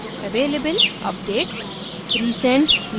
जैसे कि available updates